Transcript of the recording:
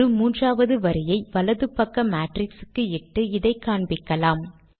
ஒரு மூன்றாவது வரியை வலது பக்க மேட்ரிக்ஸ்க்கு இட்டு இதை காண்பிக்கலாம்